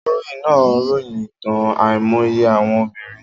Akọ̀ròyìn náà ròyìn ìtàn àìmọye àwọn obìnrin.